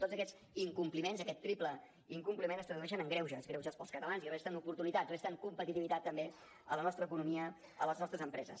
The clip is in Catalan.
tots aquests incompliments aquest triple incompliment es tradueixen en greuges greuges per als catalans i resten oportunitats resten competitivitat també a la nostra economia a les nostres empreses